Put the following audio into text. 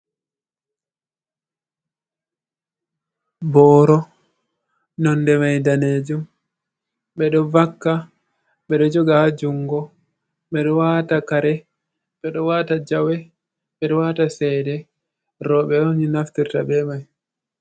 Boro nonde mai danejum. ɓeɗo vakka, ɓeɗo joga ha jungo, ɓeɗo wata kare, ɓeɗo wata jawe, ɓeɗo wata cede. Roɓe on naftirta be mai.